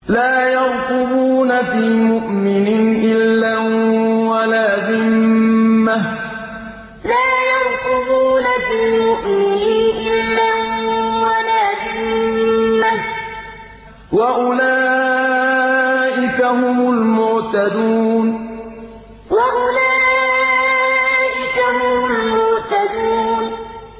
لَا يَرْقُبُونَ فِي مُؤْمِنٍ إِلًّا وَلَا ذِمَّةً ۚ وَأُولَٰئِكَ هُمُ الْمُعْتَدُونَ لَا يَرْقُبُونَ فِي مُؤْمِنٍ إِلًّا وَلَا ذِمَّةً ۚ وَأُولَٰئِكَ هُمُ الْمُعْتَدُونَ